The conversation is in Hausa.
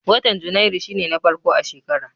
Watan Janairu shi ne na farko a shekara.